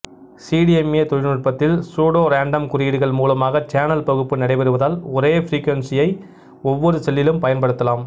CDMA நுட்பத்தில் pseudorandom குறியீடுகள் மூலமாக சேனல் பகுப்பு நடைபெறுவதால் ஒரே ப்ரீகுவன்சியையே ஒவ்வொரு செல்லிலும் பயன்படுத்தலாம்